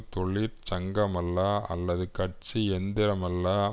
தொழிற்சங்கமல்ல அல்லது கட்சி எந்திரமல்ல